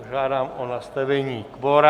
Požádám o nastavení kvora.